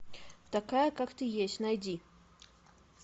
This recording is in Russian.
такая как ты есть найди